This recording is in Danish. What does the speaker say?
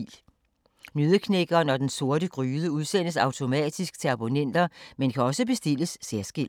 Nøddeknækkeren og Den Sorte Gryde udsendes automatisk til abonnenter, men kan også bestilles særskilt.